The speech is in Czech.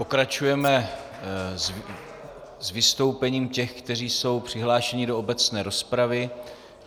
Pokračujeme s vystoupením těch, kteří jsou přihlášeni do obecné rozpravy.